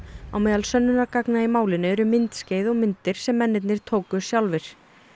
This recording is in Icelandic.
á meðal sönnunargagna í málinu eru myndskeið og myndir sem mennirnir tóku sjálfir